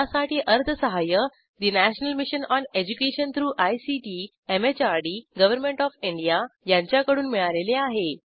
यासाठी अर्थसहाय्य national mission on education through ICT MHRD government of India यांच्याकडून मिळालेले आहे